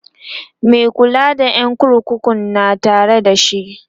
Mai kula da ƴan kurkukun na Tare da shi